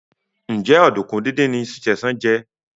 Njé Oduku dín dín ní Sesan jé?